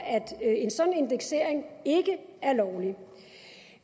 at en sådan indeksering ikke er lovlig